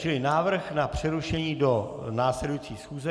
Čili návrh na přerušení do následující schůze.